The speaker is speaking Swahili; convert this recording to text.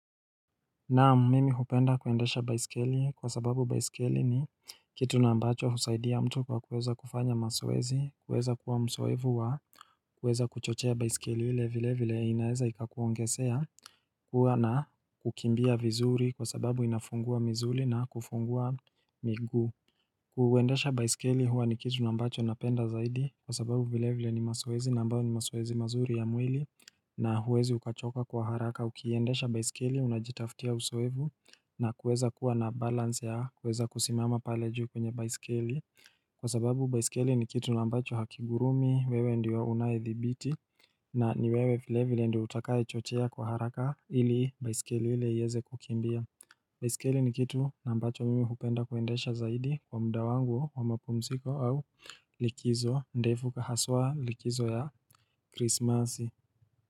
Naam mimi hupenda kuendesha baiskeli kwa sababu baiskeli ni kitu na mbacho husaidia mtu kwa kuweza kufanya masoezi, kuweza kuwa mzoefu wa kuweza kuchochea baiskeli hile vile vile inaeza ikakuongesea kuwa na kukimbia vizuri kwa sababu inafungua mizuli na kufungua miguu Kuwendesha baisikeli huwa ni kitu nambacho napenda zaidi kwa sababu vile vile ni masoezi ambayo ni masoezi mazuri ya mwili na huwezi ukachoka kwa haraka ukiendesha baisikeli unajitafutia uzoefu na kuweza kuwa na balance ya kuweza kusimama pale juu kwenye baisikeli Kwa sababu baisikeli ni kitu ambacho hakigurumi wewe ndiyo unaedhibiti na niwewe vile vile ndiyo utakaye chochea kwa haraka ili baisikeli ile iweze kukimbia baisikeli ni kitu mbacho mimi hupenda kuendesha zaidi kwa mda wangu wa mapumziko au likizo ndefu na haswa likizo ya krismasi.